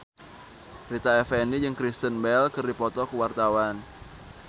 Rita Effendy jeung Kristen Bell keur dipoto ku wartawan